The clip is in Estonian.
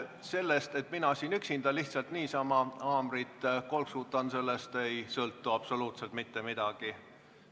Sellest, et mina siin üksinda lihtsalt niisama haamrit kolksutan, ei sõltu absoluutselt mitte midagi.